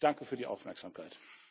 Ich danke für die Aufmerksamkeit.